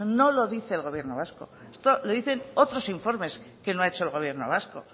no lo dice el gobierno vasco esto lo dicen otros informes que no ha hecho el gobierno vasco